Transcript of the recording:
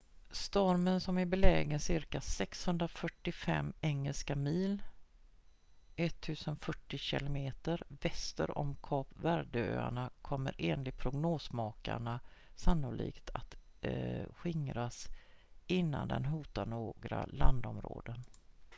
stormen som är belägen cirka 645 engelska mil 1040 km väster om kap verde-öarna kommer enligt prognosmakarna sannolikt att skingras innan den hotar några landområden